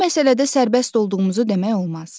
Bu məsələdə sərbəst olduğumuzu demək olmaz.